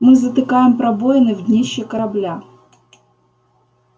мы затыкаем пробоины в днище корабля